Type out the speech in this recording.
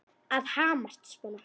Að hamast svona.